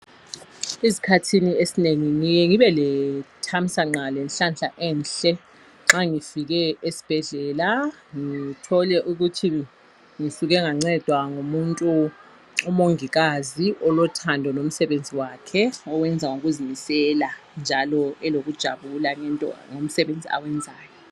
Ezikhathini esinengi ngiya ngibe lethamsanqa lenhlanhla enhle nxa ngifike esibhedlela ngithole ukuthi ngisuke ngancedwa ngumuntu umongikazi olothando lomsebenzi wakhe owenza ngokuzimisela njalo elokujabula ngomsebenzi awenzayo.